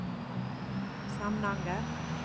Samnanger